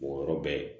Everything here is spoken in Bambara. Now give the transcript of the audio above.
O yɔrɔ bɛ yen